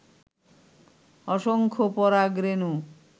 অসংখ্য পরাগ রেণু